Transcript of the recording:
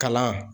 Kalan